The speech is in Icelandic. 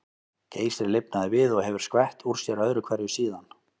Geysir lifnaði við og hefur skvett úr sér öðru hverju síðan.